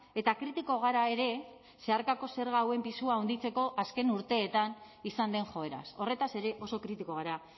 eta kritiko gara ere zeharkako zerga hauen pisua handitzeko azken urteetan izan den joeraz horretaz ere oso kritiko gara